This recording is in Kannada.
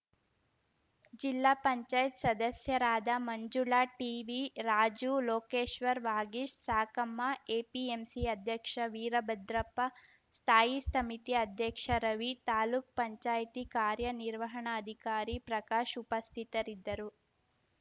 ಜಿಲ್ಲಾ ಪಂಚಾಯತ್ ಸದಸ್ಯರಾದ ಮಂಜುಳಾ ಟಿವಿರಾಜು ಲೋಕೇಶ್ವರ್‌ ವಾಗೀಶ್‌ ಸಾಕಮ್ಮ ಎಪಿಎಂಸಿ ಅಧ್ಯಕ್ಷ ವೀರಭದ್ರಪ್ಪ ಸ್ಥಾಯಿ ಸಮಿತಿ ಅಧ್ಯಕ್ಷ ರವಿ ತಾಲೂಕ್ ಪಂಚಾಯತ್ ಕಾರ್ಯನಿರ್ವಾಹಣಾಧಿಕಾರಿ ಪ್ರಕಾಶ್‌ ಉಪಸ್ಥಿತರಿದ್ದರು